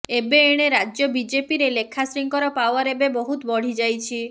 ଏବେ ଏଣେ ରାଜ୍ୟ ବିଜେପିରେ ଲେଖାଶ୍ରୀଙ୍କର ପାୱାର ଏବେ ବହୁତ ବଢ଼ିଯାଇଛି